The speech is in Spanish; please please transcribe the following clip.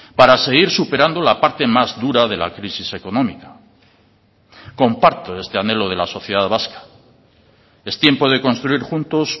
para seguir superando la parte más dura de la crisis económica comparto este anhelo de la sociedad vasca es tiempo de construir juntos